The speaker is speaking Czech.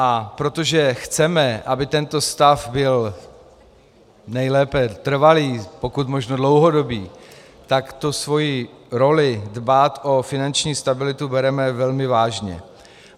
A protože chceme, aby tento stav byl nejlépe trvalý, pokud možno dlouhodobý, tak tu svoji roli - dbát o finanční stabilitu - bereme velmi vážně.